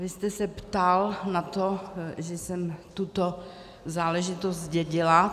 Vy jste se ptal na to, že jsem tuto záležitost zdědila.